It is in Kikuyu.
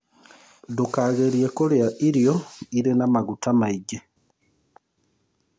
Ndũkagerĩe kũrĩa irio ĩrĩ na magũta maĩngĩ